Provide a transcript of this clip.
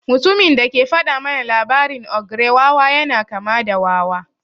Mutumin da ke faɗa mana labarin ogre wawa yana kama da wawa.